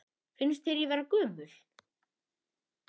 Finnst þér ég vera gömul?